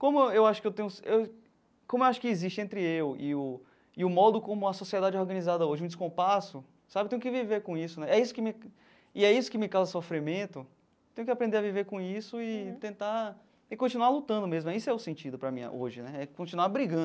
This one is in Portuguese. Como eu eu acho que eu tenho eu como eu acho que existe entre eu e o e o modo como a sociedade é organizada hoje, um descompasso sabe, tenho que viver com isso né, é isso que me e é isso que me causa sofrimento, tenho que aprender a viver com isso e tentar, e continuar lutando mesmo, esse é o sentido para mim hoje né, é é continuar brigando.